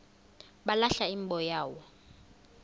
balahla imbo yabo